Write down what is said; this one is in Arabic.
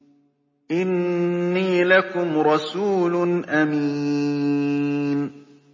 إِنِّي لَكُمْ رَسُولٌ أَمِينٌ